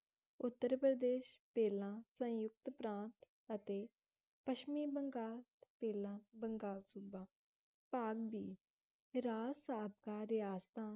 ਉੱਤਰ ਪ੍ਰਦੇਸ਼ ਪਹਿਲਾਂ ਸੰਯੁਕਤ ਪ੍ਰਾਂਤ ਅਤੇ ਪੱਛਮੀ ਬੰਗਾਲ ਪਹਿਲਾਂ ਬੰਗਾਲ ਸੂਬਾ ਭਾਗ ਦੀ ਸਾਬਕਾ ਰਿਆਸਤਾਂ